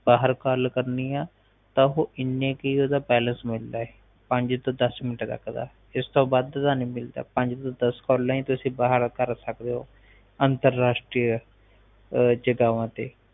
ਬਾਹਰ ਗੱਲ ਕਰਨੀ ਆ ਤਾ ਓਹਦਾ ਇਨਾ ਕ ਹੀ ਬੈਲੰਸ ਮਿਲਦਾ ਪੰਜ ਤੋਂ ਦਸ ਮਿੰਟ ਤਕ ਦਾ ਇਸਤੋਂ ਵੱਧ ਨਹੀਂ ਮਿਲਦਾ ਪੰਜ ਤੋਂ ਦਸ ਕਾਲਾ ਹੀ ਤੁਸੀ ਬਾਹਰ ਕਰ ਸਕਦੈ ਹੋ ਅੰਤਰਰਾਸ਼ਟਰੀ ਜਗਾਵਾਂ ਤੇ